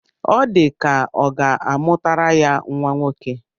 Ọ dị ka ọ ga-amụtara ya nnwa nwoke